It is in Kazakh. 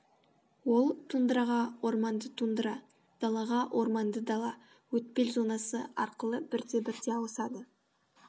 ол тундраға орманды тундра далаға орманды дала өтпел зонасы арқылы бірте бірте ауысады